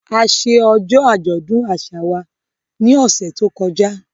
A ṣe ọjọ́ àjọ̀dún àṣà wa ní ọ̀sẹ̀ tó kọjá